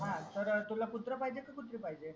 हा तर तुला कुत्रा पाहिजे की कुत्री पाहिजे